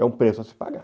É um preço a se pagar.